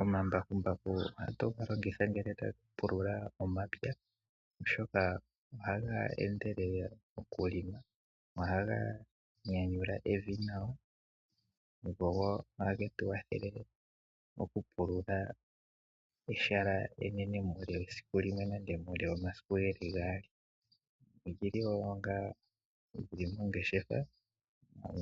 Omambakumbaku ohatu ga longitha ngele tatu pulula omapya oshoka ohaga endelele okulonga, ohaga nyanyula Evi nawa oshowoo ohagetu wathele okupulula ehala enene muule wesiku limwe nenge muule womasiku gaali ogeli woo onga ongeshefa